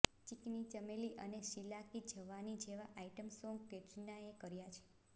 ચિકની ચમેલી અને શીલા કી જવાની જેવા item song કૈટરીનાએ કર્યા છે